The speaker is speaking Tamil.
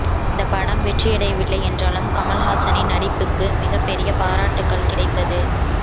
இந்த படம் வெற்றியடையவில்லை என்றாலும் கமல்ஹாசனின் நடிப்புக்கு மிகப்பெரிய பாராட்டுக்கள் கிடைத்தது